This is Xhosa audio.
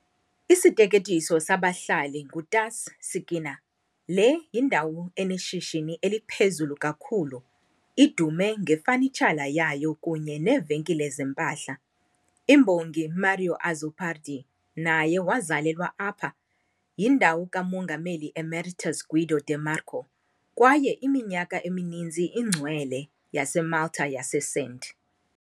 Isiteketiso sabahlali nguTas"-Sikkina", le yindawo eneshishini eliphezulu kakhulu, idume ngefanitshala yayo kunye neevenkile zempahla. Imbongi Mario Azzopardi naye wazalelwa apha, yindawo kaMongameli Emeritus Guido de Marco kwaye iminyaka emininzi ingcwele yaseMalta yaseSt.